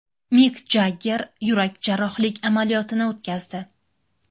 Mik Jagger yurak jarrohlik amaliyotini o‘tkazdi.